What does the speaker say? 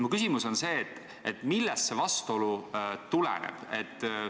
Mu küsimus on järgmine: millest see vastuolu tuleneb?